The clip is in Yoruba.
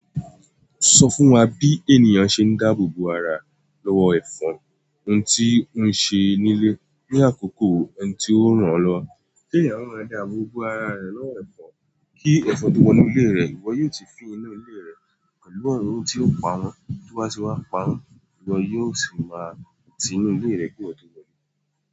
Sọ fún wa bí ènìyàn ṣe ń dáàbò bo ara, lọ́wọ́ ẹ̀fọn ohun tí ó ń ṣe nílé ní àkókò ẹni tí ó ràn án lọwo. Kí ènìyàn máa dáàbò bo ara rẹ̀ lọ́wọ́ ẹ̀fọn kí ẹ̀fọn tó wo ínú ilé rẹ̀, ìwọ yóò ti fin inú ilé rẹ̀ pẹ̀lú ọ̀orún tí ó pa won. Tí o ba ti wá pa won iwo yóò sì máa ti inú ilé rẹ ki iwo o tó wọlé.